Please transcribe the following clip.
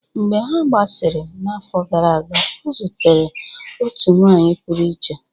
Mgbe ha gbasasịrị n'afọ gara aga, ọ zutere otu nwanyị pụrụ iche